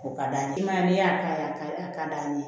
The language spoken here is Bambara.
O ka d'a ye i m'a ye n'i y'a ka d'a ye